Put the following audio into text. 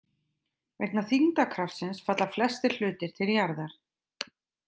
Vegna þyngdarkraftsins falla flestir hlutir til jarðar.